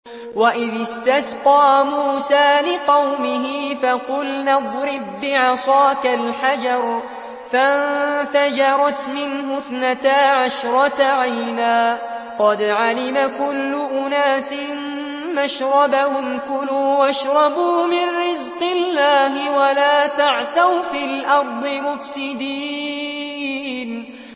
۞ وَإِذِ اسْتَسْقَىٰ مُوسَىٰ لِقَوْمِهِ فَقُلْنَا اضْرِب بِّعَصَاكَ الْحَجَرَ ۖ فَانفَجَرَتْ مِنْهُ اثْنَتَا عَشْرَةَ عَيْنًا ۖ قَدْ عَلِمَ كُلُّ أُنَاسٍ مَّشْرَبَهُمْ ۖ كُلُوا وَاشْرَبُوا مِن رِّزْقِ اللَّهِ وَلَا تَعْثَوْا فِي الْأَرْضِ مُفْسِدِينَ